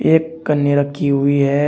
एक कन्नी रखी हुई है।